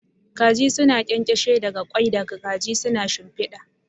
Kaji suna ƙyanƙyashe daga ƙwai da kaji suka shimfiɗa.